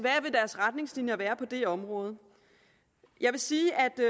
retningslinjer være på det område jeg vil sige